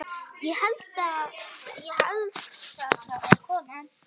Ég held það svaraði konan.